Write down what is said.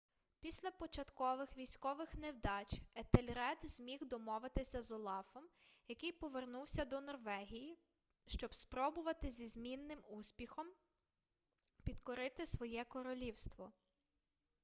після початкових військових невдач етельред зміг домовитися з олафом який повернувся до норвегії щоб спробувати зі змінним успіхом підкорити своє королівство